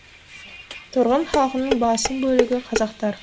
тұрғын халқының басым бөлігі қазақтар